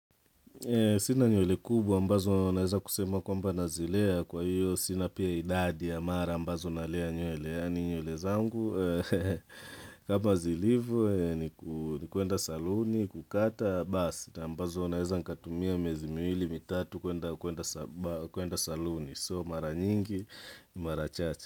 Sina nywele kubwa ambazo naeza kusema kwamba nazilea kwa hiyo sina pia idadi ya mara ambazo naelea nywele yaani nywele zangu kama zilivo ni kuenda saluni kukata basi ambazo naeza nikatumia miezi miwili mitatu kuenda kuenda saluni So mara nyingi, mara chache.